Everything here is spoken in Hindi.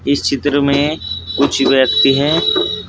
इस चित्र में कुछ व्यक्ति हैं।